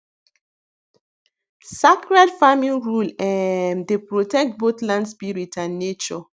sacred farming rule um dey protect both land spirit and nature